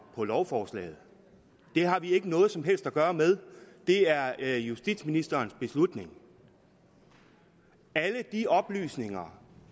på lovforslaget det har vi ikke noget som helst at gøre med det er justitsministerens beslutning alle de oplysninger